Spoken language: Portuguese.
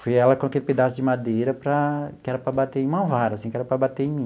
Foi ela com aquele pedaço de madeira para que era para bater uma vara assim, que era para bater em mim.